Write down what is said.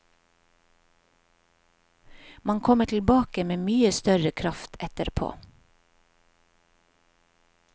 Man kommer tilbake med mye større kraft etterpå.